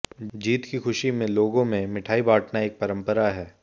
जीत की खुशी में लोगों में मिठाई बांटना एक परंपरा है